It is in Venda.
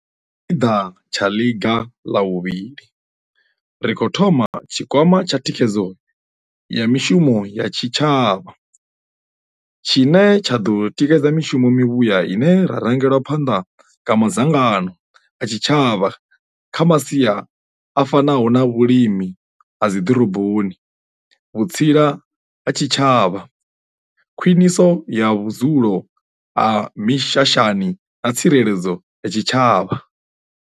Sa tshipiḓa tsha ḽiga ḽa vhuvhili, ri khou thoma tshikwama tsha thikhedzo ya mishumo ya tshitsha vha tshine tsha ḓo tikedza mishumo mivhuya ine ya rangelwa phanḓa nga madzangano a tshitshavha kha masia a fanaho na vhulimi ha dziḓoroboni, vhutsila ha tshitshavha, khwiṋiso ya vhudzulo ha mishashani na tsireledzo ya tshitshavha.